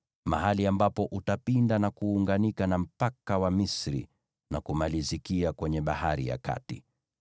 mahali ambapo utapinda, na kuunganika na Kijito cha Misri na kumalizikia kwenye Bahari ya Kati.